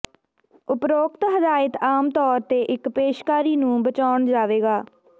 ਉਪਰੋਕਤ ਹਦਾਇਤ ਆਮ ਤੌਰ ਤੇ ਇੱਕ ਪੇਸ਼ਕਾਰੀ ਨੂੰ ਬਚਾਉਣ ਜਾਵੇਗਾ